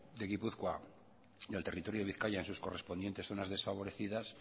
de gipuzkoa y al territorio de bizkaia en sus correspondientes zonas desfavorecidas